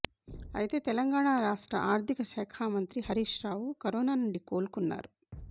అయితే తెలంగాణ రాష్ట్ర ఆర్థిక శాఖ మంత్రి హరీష్ రావు కరోనా నుండి కోలుకున్నారు